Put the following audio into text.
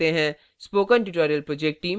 spoken tutorial project team